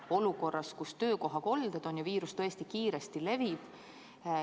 Oleme olukorras, kus on töökohakolded ja viirus tõesti kiiresti levib.